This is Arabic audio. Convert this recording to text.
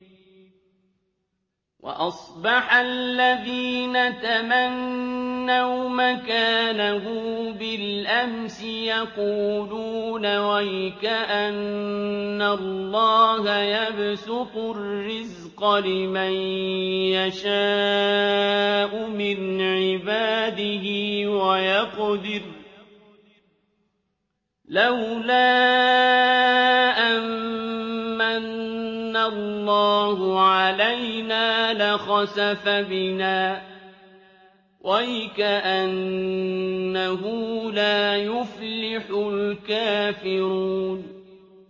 وَأَصْبَحَ الَّذِينَ تَمَنَّوْا مَكَانَهُ بِالْأَمْسِ يَقُولُونَ وَيْكَأَنَّ اللَّهَ يَبْسُطُ الرِّزْقَ لِمَن يَشَاءُ مِنْ عِبَادِهِ وَيَقْدِرُ ۖ لَوْلَا أَن مَّنَّ اللَّهُ عَلَيْنَا لَخَسَفَ بِنَا ۖ وَيْكَأَنَّهُ لَا يُفْلِحُ الْكَافِرُونَ